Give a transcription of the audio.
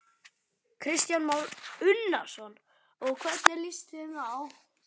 Kristján Már Unnarsson: Og hvernig líst þeim á?